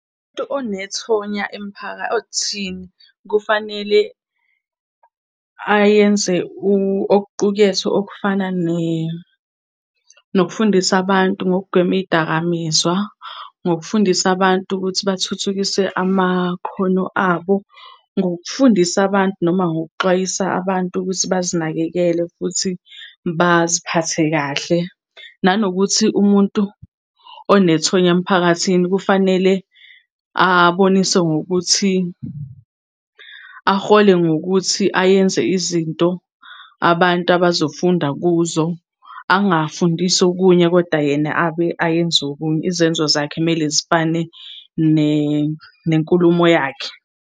onethonya emphakathini kufanele ayenze okuqukethwe okufana nokufundisa abantu ngokugwema iy'dakamizwa, ngokufundisa abantu ukuthi bathuthukise amakhono abo, ngokufundisa abantu noma ngokuxwayisa abantu ukuthi bazinakekele futhi baziphathe kahle. Nanokuthi umuntu onethonya emphakathini kufanele aboniswe ngokuthi, ahole ngokuthi ayenze izinto abantu abazofunda kuzo. Angafundisa okunye koda yena abe ayenze okunye, izenzo zakhe kumele zifane nenkulumo yakhe.